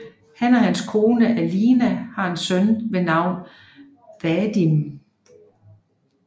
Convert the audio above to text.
Han og hans kone Alina har en søn ved navn Vadim